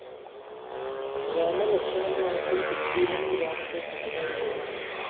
രാമലക്ഷ്ണന്മാര്‍ക്ക്‌ സുഗ്രീവനും രാമന്റെ സഹകാരികളായി